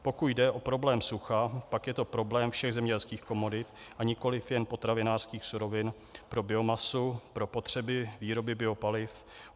Pokud jde o problém sucha, pak je to problém všech zemědělských komodit a nikoliv jen potravinářských surovin pro biomasu, pro potřeby výroby biopaliv.